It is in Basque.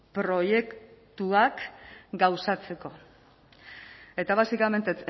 proiektuak gauzatzeko eta básicamente